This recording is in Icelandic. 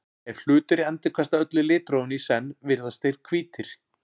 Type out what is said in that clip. ef hlutir endurkasta öllu litrófinu í senn virðast þeir hvítir